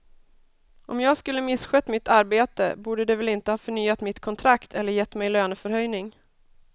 Om jag skulle misskött mitt arbete borde de väl inte ha förnyat mitt kontrakt eller gett mig löneförhöjning.